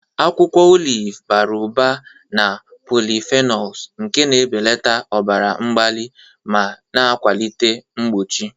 Akwụkwọ oliv bara ụba na polyphenols nke na-ebelata ọbara mgbali ma na-akwalite mgbochi.